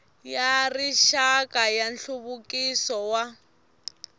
ya rixaka ya nhluvukiso wa